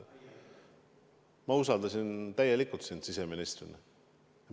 Ma usaldasin sind kui siseministrit täielikult.